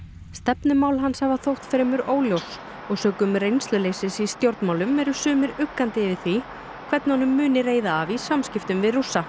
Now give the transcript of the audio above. stefnumál hans hafa þótt fremur óljós og sökum reynsluleysis hans í stjórnmálum eru sumir uggandi yfir því hvernig honum muni reiða af í samskiptum við Rússa